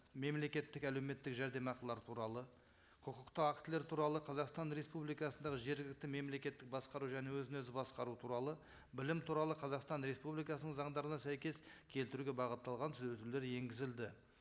мемлекеттік әлеуметтік жәрдемақылар туралы құқықты актілер туралы қазақстан республикасындағы жергілікті мемлекеттік басқару және өзін өзі басқару туралы білім туралы қазақстан республикасының заңдарына сәйкес келтіруге бағытталған түзетулер енгізілді